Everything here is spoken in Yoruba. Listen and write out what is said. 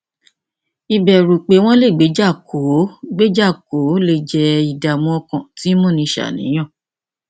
ìbẹrù pé wọn lè gbéjà kò ó gbéjà kò ó lè jẹ ìdààmú ọkàn tí ń múni ṣàníyàn